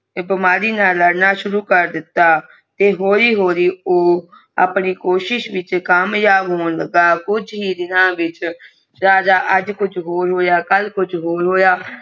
ਬਿਮਾਰੀ ਨਾ ਲੜਨਾ ਸ਼ੁਰੂ ਕਰ ਦਿਤਾ ਹੋਲੀ ਹੋਲੀ ਆਪਣੀ ਕੋਸ਼ਿਸ਼ ਵਿਸ਼ ਕਮੀਵਾ ਹੋ ਲਗਾ ਕੁਛ ਹੀ ਦੇਣਾ ਵਿਚ ਰਾਜਾ ਕੁਛ ਹੋਰ ਹੋਇਆ ਰਾਜਾ ਅਜੇ ਕੁਛ ਹੋਰਬ ਹੋਰ ਕਲ ਕੁਛ ਹੋਰ